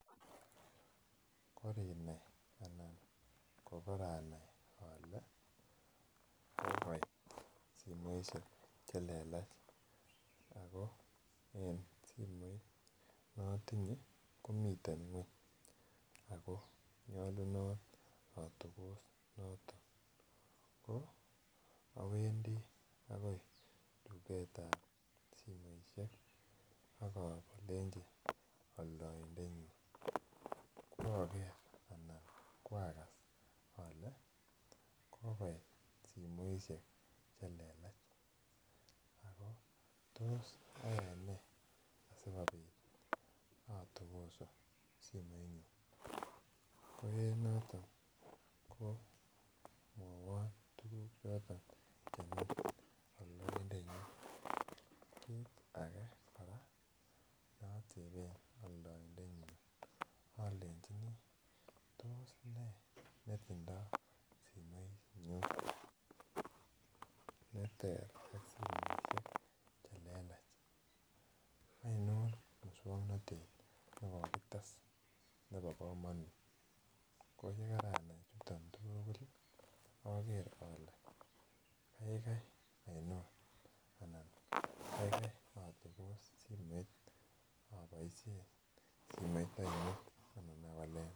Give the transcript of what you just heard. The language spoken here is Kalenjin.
korinai anan kokoranai ole kokoit simoishek chelelach ako en simoit notinye komiten ako nyolunot atokos notok ko awendi akoi tuketab simoishek akolecnchi altoindenywan kooker alan koakas ole kokoit simoishek chelelach ako tos ayainee sikobit atokosu simoinyun koenotok komwowon tuguk choton chemi oldoindenyun kit ake neoteben oldoindenyun olenchini tos nee nitindo simoininyun neter ak simoishek chelelach ainon muswoknotet nekokites nebo komonut koyekaranai chuton tuguli aker ole kaikai aninon anan kaikai atokos simet aboishen simet ainon anan awalen